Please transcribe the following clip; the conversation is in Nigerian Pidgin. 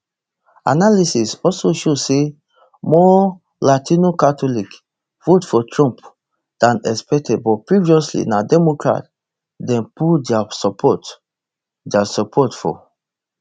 analysis also show say more latino catholics vote for trump dan expected but previously na democrat dem pull dia support dia support for